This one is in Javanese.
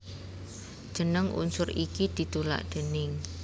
Jeneng unsur iki ditulak déning